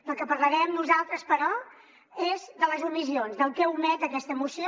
del que parlarem nosaltres però és de les omissions del que omet aquesta mo·ció